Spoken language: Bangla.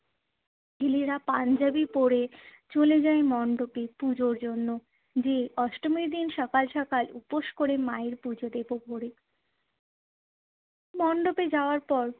ছেলেরা পাঞ্জাবি পরে চলে যায় মণ্ডপে পুজোর জন্য যেয়ে অষ্টমীর দিন সকাল সকাল উপোস কোরে মায়ের পুজো দেব ভোরে। মণ্ডপে যাওয়ার পর